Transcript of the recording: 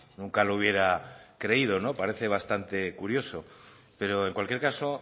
nunca lo hubiera creído parece bastante curioso pero en cualquier caso